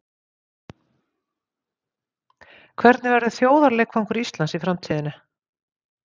Hvernig verður þjóðarleikvangur Íslands í framtíðinni?